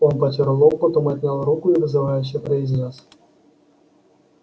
он потёр лоб потом отнял руку и вызывающе произнёс